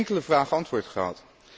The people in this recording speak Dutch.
We hebben op geen enkele vraag antwoord